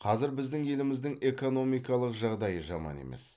қазір біздің еліміздің экономикалық жағдайы жаман емес